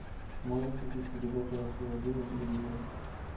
можешь включить передачу россия один на телевизоре